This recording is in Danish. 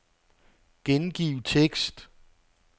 Gengiv tekst.